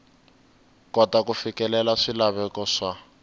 kota ku fikelela swilaveko swa